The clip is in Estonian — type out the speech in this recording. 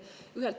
Aeg!